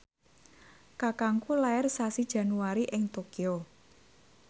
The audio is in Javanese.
kakangku lair sasi Januari ing Tokyo